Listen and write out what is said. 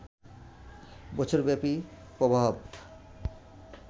বছরব্যাপী প্রভাব